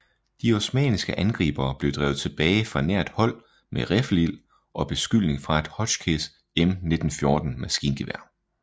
De osmanniske angribere blev drevet tilbage fra nært hold med riffelild og beskydning fra et Hotchkiss M1914 maskingevær